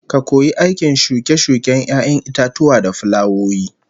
Ka koyi aikin shuke-shuken 'ya'yan itatuwa da fulawoyi